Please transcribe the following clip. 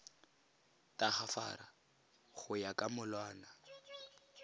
tagafara go ya ka molawana